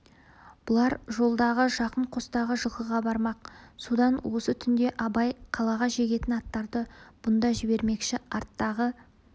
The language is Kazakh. бұлар жолдағы жақын қостағы жылқыға бармақ содан осы түнде абай қалаға жегетін аттарды бұнда жібермекші арттағы